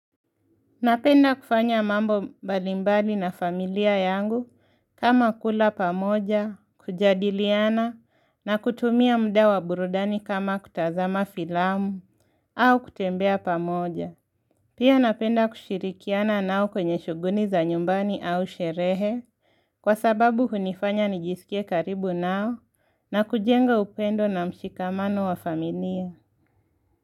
Napenda kufanya mambo mbalimbali na familia yangu kama kula pamoja, kujadiliana na kutumia muda wa burudani kama kutazama filamu au kutembea pamoja. Pia napenda kushirikiana nao kwenye shughuli za nyumbani au sherehe kwa sababu hunifanya nijisikie karibu nao na kujenga upendo na mshikamano wa familia.